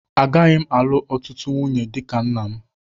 Agaghị m alụ ọtụtụ nwunye dị ka nna m.